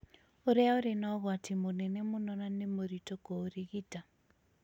ũrĩa ũrĩ na ũgwati mũnene mũno na nĩ mũritũ kũũrigita.